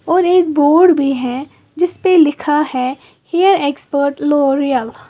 और एक बोर्ड भी है जिस पे लिखा है हेयर एक्सपर्ट लॉरिअल ।